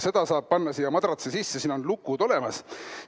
Seda raha saab panna siia madratsi sisse, siin on lukud olemas.